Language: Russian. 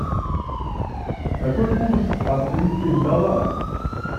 какой курс австрийских доллара